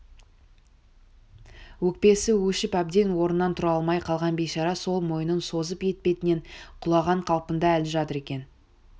өкпесі өшіп әбден орнынан тұра алмай қалған бейшара сол мойнын созып етпетінен құлаған қалпында әлі жатыр екен